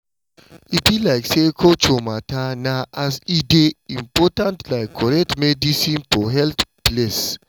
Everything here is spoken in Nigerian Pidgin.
e be like say culture matter na as e dey important like correct medicine for health place.